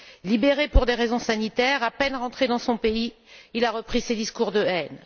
Libéré pour des raisons sanitaires, à peine rentré dans son pays, il a repris ses discours de haine.